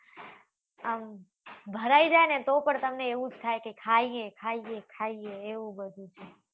આમ ભરાઈ જાય ને તો પણ તમને એવું જ થાય કે ખાઈએ ખાઈએ ખાઈએ એવું બધું